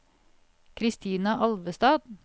Christina Alvestad